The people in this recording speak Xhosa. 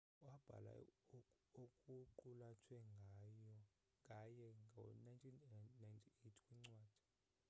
wabhala okuqulathwe ngaye ngo 1998 kwincwadi